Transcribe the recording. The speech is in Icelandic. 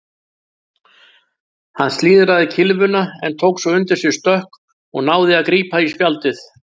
Hann slíðraði kylfuna en tók svo undir sig stökk og náði að grípa í spjaldið.